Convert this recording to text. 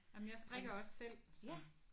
Ej men jeg strikker også selv så